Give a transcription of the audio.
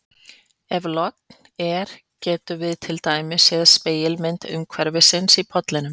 Ef logn er getum við til dæmis séð spegilmynd umhverfisins í pollinum.